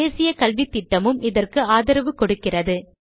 தேசிய கல்வித்திட்டமும் இதற்கு ஆதரவு கொடுக்கிறது